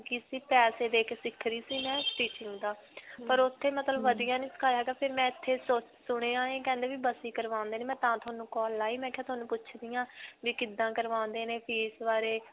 ਲੱਗੀ ਸੀ, ਪੈਸੇ ਦੇ ਕੇ ਸਿੱਖ ਰਹੀ ਸੀ ਮੈਂ stitching ਦਾ, ਪਰ ਓੱਥੇ ਮਤਲਬ ਵਧੀਆ ਨਹੀਂ ਸਿਖਾਇਆ ਹੈਗਾ ਫਿਰ ਮੈਂ ਇੱਥੇ ਸਸ ਸੁਣਿਆ ਹੈ ਕਰਵਾਉਂਦੇ ਨੇ. ਮੈਂ ਤਾਂ ਤੁਹਾਨੂੰ call ਲਗਾਈ, ਮੈਂ ਕਿਹਾ ਤੁਹਾਨੂੰ ਪੁੱਛਦੀ ਹਾਂ ਵੀ ਕਿੱਦਾਂ ਕਰਵਾਉਂਦੇ ਨੇ fees ਬਾਰੇ.